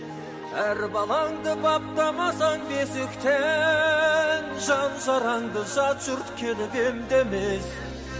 әр балаңды баптамасаң бесіктен жан жарыңды жат жұрт келіп емдемес